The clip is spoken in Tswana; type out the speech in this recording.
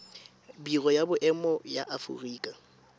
biro ya boemo ya aforika